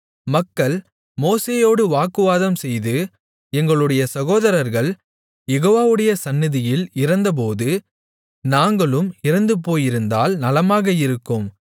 மக்கள் மோசேயோடு வாக்குவாதம்செய்து எங்களுடைய சகோதரர்கள் யெகோவாவுடைய சந்நிதியில் இறந்தபோது நாங்களும் இறந்துபோயிருந்தால் நலமாக இருக்கும்